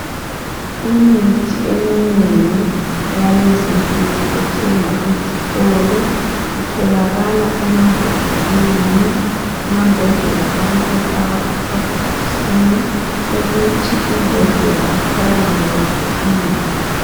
Imithi eminengi eyalezinsuku ethengwa ezitolo. Itholakala emambodleleni amambodlela abesefakwa ekhadibhokisini ukuthi imbodlela ithwaleke kuhle ingawi.